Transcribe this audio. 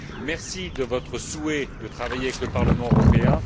Merci de votre souhait de travailler avec le Parlement européen.